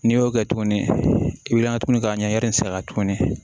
N'i y'o kɛ tuguni i bi ka tuguni k'a ɲɛ yira a la tuguni